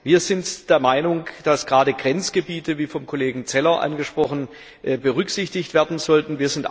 Wir sind der Meinung, dass gerade Grenzgebiete, wie vom Kollegen Zeller angesprochen, berücksichtigt werden sollten.